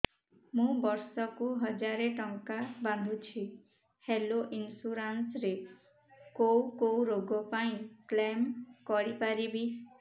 ମୁଁ ବର୍ଷ କୁ ହଜାର ଟଙ୍କା ବାନ୍ଧୁଛି ହେଲ୍ଥ ଇନ୍ସୁରାନ୍ସ ରେ କୋଉ କୋଉ ରୋଗ ପାଇଁ କ୍ଳେମ କରିପାରିବି